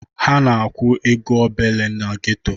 Ha na-akwụ ego obele na geto.